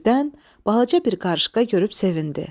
Birdən balaca bir qarışqa görüb sevindi.